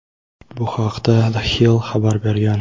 Bu haqda "The Hill" xabar bergan.